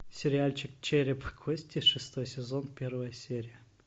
сериальчик череп и кости шестой сезон первая серия